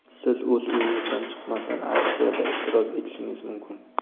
Siz o‘z uyingizdan chiqmasdan aksiyada ishtirok etishingiz mumkin!